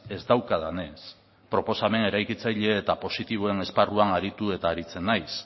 ez daukadanez proposamen eraikitzaile eta positiboen esparruan aritu eta aritzen naiz